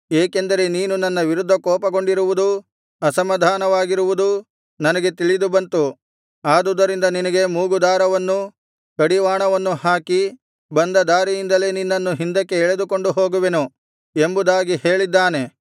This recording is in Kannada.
ಏಕೆಂದರೆ ನೀನು ನನ್ನ ವಿರುದ್ಧ ಕೋಪಗೊಂಡಿರುವುದೂ ಅಸಮಾಧಾನವಾಗಿರುವುದೂ ನನಗೆ ತಿಳಿದುಬಂತು ಆದುದರಿಂದ ನಿನಗೆ ಮೂಗುದಾರವನ್ನೂ ಕಡಿವಾಣವನ್ನೂ ಹಾಕಿ ಬಂದ ದಾರಿಯಿಂದಲೇ ನಿನ್ನನ್ನು ಹಿಂದಕ್ಕೆ ಎಳೆದುಕೊಂಡು ಹೋಗುವೆನು ಎಂಬುದಾಗಿ ಹೇಳಿದ್ದಾನೆ